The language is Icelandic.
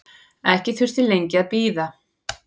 Ekki þurfti lengi að bíða.